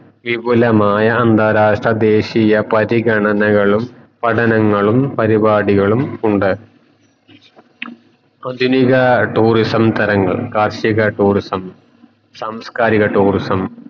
വിപുലമായ അന്താഅരാഷ്ട്ര ദേശിയ പരിഗണനകളും പഠനങ്ങളും പരിവാടികളും ഉണ്ട് ആധുനിക tourism തരങ്ങൾ കാർഷിക tourism സാസ്കാരിക tourism